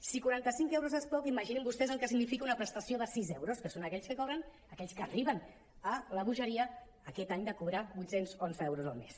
si quaranta·cinc euros és poc imaginin vostès el que significa una prestació de sis euros que són aquells que cobren aquells que arriben a la bogeria aquest any de cobrar vuit cents i onze euros al mes